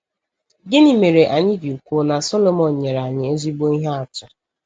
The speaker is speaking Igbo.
Gịnị mere anyị ji kwuo na Sọlọmọn nyere anyị ezigbo ihe atụ?